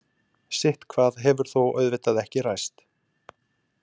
Sitthvað hefur þó auðvitað ekki ræst.